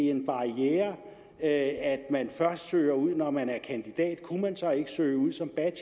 en barriere at man først søger ud når man er kandidat kunne man så ikke søge ud som